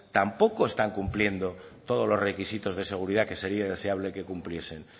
tampoco están cumpliendo todos los requisitos de seguridad que sería deseable que cumpliesen